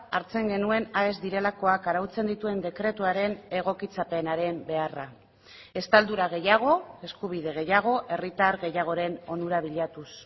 hartzen genuen aes direlakoak arautzen dituen dekretuaren egokitzapenaren beharra estaldura gehiago eskubide gehiago herritar gehiagoren onura bilatuz